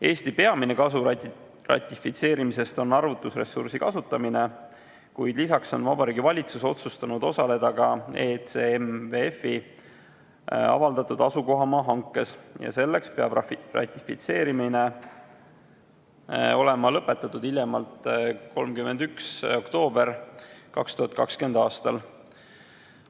Eesti peamine kasu ratifitseerimisest on arvutusressursi kasutamine, kuid lisaks on Vabariigi Valitsus otsustanud osaleda ka ECMWF-i avaldatud asukohamaa hankes ja selleks peab ratifitseerimine olema lõpetatud hiljemalt 31. oktoobril 2020. aastal.